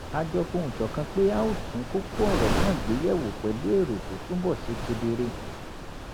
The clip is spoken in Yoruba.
a jọ fohùn ṣọ̀kan pé a óò tún kókó ọ̀rọ̀ náà gbé yẹ̀wò pẹ̀lú èrò tó túbọ̀ ṣe kedere